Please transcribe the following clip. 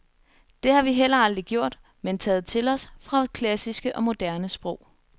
Det har vi heller aldrig gjort, men taget til os fra både klassiske og moderne sprog.